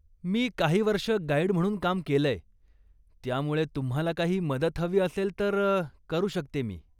मी काही वर्ष गाईड म्हणून काम केलंय, त्यामुळे तुम्हाला काही मदत हवी असेल तर करू शकते मी.